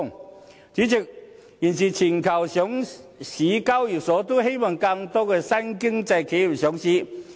代理主席，現時全球上市交易所都希望吸引更多新經濟企業上市。